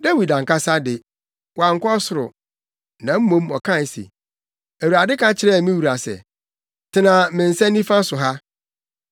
Dawid ankasa de, wankɔ ɔsoro, na mmom ɔkae se, “ ‘Awurade ka kyerɛɛ me wura se, “Tena me nsa nifa so ha,